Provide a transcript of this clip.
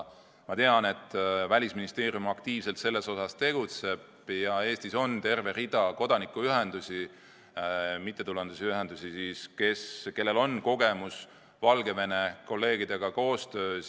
Ma tean, et Välisministeerium tegutseb selles osas aktiivselt ja et Eestis on terve rida kodanikuühendusi, mittetulundusühinguid, kellel on kogemusi koostöös Valgevene kolleegidega.